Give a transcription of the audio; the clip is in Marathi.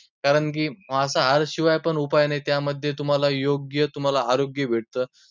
कारण की मांसाहारशिवाय पण उपाय नाही, त्यामध्ये तुम्हांला योग्य तुम्हांला आरोग्य भेटतं.